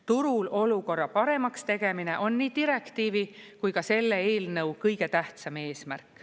Turul olukorra paremaks tegemine on nii direktiivi kui ka selle eelnõu kõige tähtsam eesmärk.